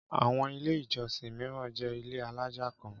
Àwọn Ilé-ìjọsìn mìíràn jẹ́ ilé alájà kan.